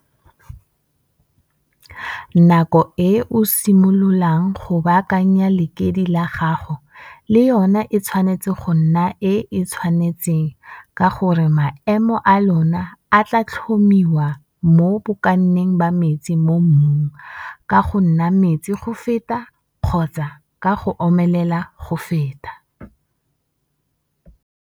Nako e o simololang go baakanya lekidi le gago le yona e tshwanetse go nna e e tshwanetseng ka gore maemo a lona a tlaa tlhomiwa mo bokaneng ba metsi mo mmung ka go nna metsi go feta kgotsa ka go omelela go feta.